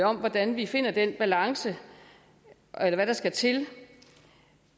om hvordan vi finder den balance eller hvad der skal til